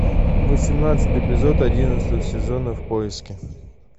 восемнадцатый эпизод одиннадцатого сезона в поиске